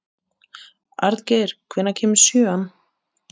Arngeir, hvenær kemur sjöan?